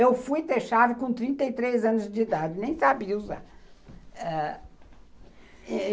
Eu fui ter chave com trinta anos de idade, nem sabia usar.